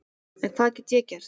En hvað get ég gert?